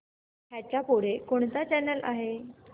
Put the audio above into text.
ह्याच्या पुढे कोणता चॅनल आहे